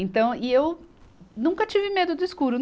Então, e eu nunca tive medo do escuro.